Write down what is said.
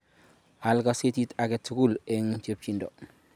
Al gazetishek agetug'ul eng' chepchindo